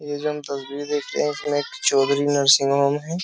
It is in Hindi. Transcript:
ये जो हम तस्वीर देख रहे हैं इसमें नर्सिंग होम है।